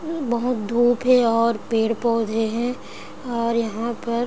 ई बहुत धुप है और पेड़-पौधे हैं और यहाँ पर --